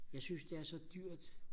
jeg synes det er så dyrt